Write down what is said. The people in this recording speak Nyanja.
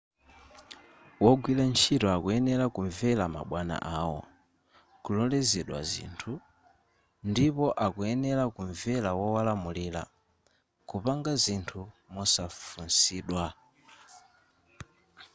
wogwira ntchito akuyenera kumvera mabwana awo kulolezedwa zinthu ndipo akuyenera kumvera wowalamulira kupanga zinthu mosafunsidwa